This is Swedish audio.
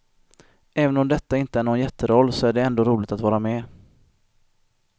Även om detta inte är nån jätteroll så är det ändå roligt att vara med.